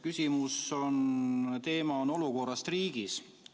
Küsimuse teema on olukorrast riigis.